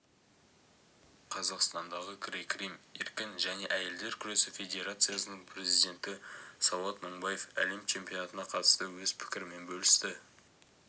қазақстандағы грек-рим еркін және әйелдер күресі федерациясының президенті сауат мыңбаев әлем чемпионатына қатысты өз пікірімен бөлісті